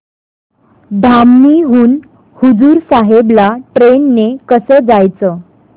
धामणी हून हुजूर साहेब ला ट्रेन ने कसं जायचं